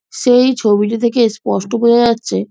সেই ছবিটি থেকে স্পষ্ট বোজা যাচ্ছে--